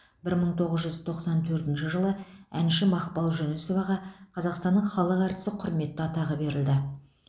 бір мың тоғыз жүз тоқсан төртінші жылы әнші мақпал жүнісоваға қазақстанның халық әртісі құрметті атағы берілді